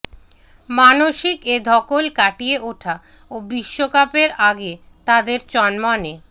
মানসিক এ ধকল কাটিয়ে ওঠা ও বিশ্বকাপের আগে তাঁদের চনমনে